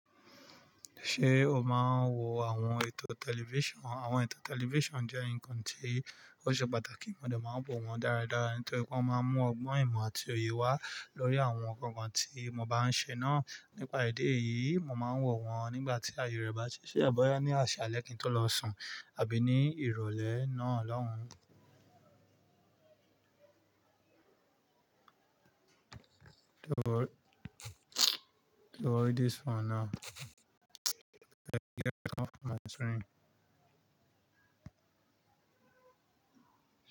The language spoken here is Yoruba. Ṣé o máa ń wo àwọn ètò tẹlifíṣàn? Àwọn ètò tẹlifíṣàn jẹ́ nǹkan tí ó ṣe pàtàkì, mo dà máa ń wò wọ́n dáradára nítorí pé wọ́n máa ń mú ọgbọ́n ìmọ̀ àti òye wá lórí àwọn nǹkan tí mo bá ń ṣe náà. Nípa èdi yìí, mo máa ń wọ̀ wọ́n nígbà tí ayẹyẹ bá ṣíṣe, àbọ́ ní àsìá lẹ́yìn tó lọ sùn àbí ní ìrọ̀lẹ́ náà lọ́hùn. To hold, to hold this phone now.